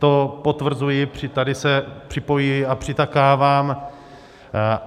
To potvrzuji, tady se připojuji a přitakávám.